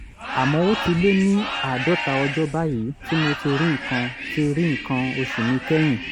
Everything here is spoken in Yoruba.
àmọ́ ó ti lé ní àádọ́ta ọjọ́ báyìí tí mo ti rí nǹkan ti rí nǹkan oṣù mi kẹ́yìn